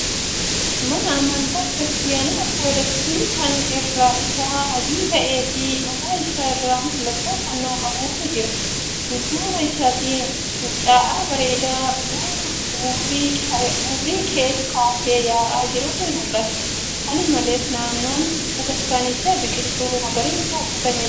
Mana amantaa Kiristaanaa Ortoodoksii kan irri isaa adii ta'ee fi mataa isaa irraa mallattoo fannoo qabutu jira. Dudduuba isaatti fincaa'aa bareeda urrii kaasee yaa'aa jirutu mul'ata. Kana malees, naannoon bataskaanichaa biqiltuu magariisaan guutamee jira.